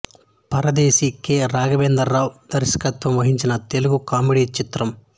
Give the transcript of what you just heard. పరదేశి K Raghavendra Rao దర్శకత్వం వహించిన Telugu comedy చిత్రం